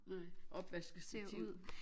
Nej opvaskestativ